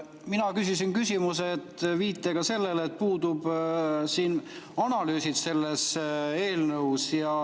Mina küsisin küsimused viitega sellele, et selles eelnõus puuduvad analüüsid.